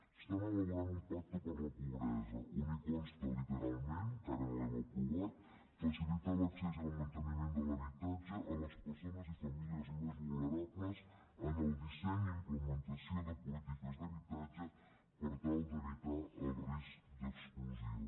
estan elaborant un pacte per a la pobresa on consta literalment encara no l’hem aprovat facilitar l’accés i el manteniment de l’habitatge a les persones i famílies més vulnerables en el disseny i implementació de polítiques d’habitatge per tal d’evitar el risc d’exclusió